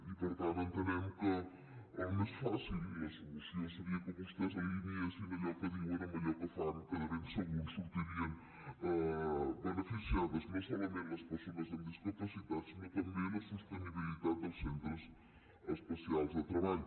i per tant entenem que el més fàcil i la solució seria que vostès alineessin allò que diuen amb allò que fan que de ben segur en sortirien beneficiades no solament les persones amb discapacitat sinó també la sostenibilitat dels centres especials de treball